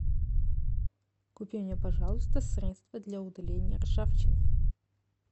купи мне пожалуйста средство для удаления ржавчины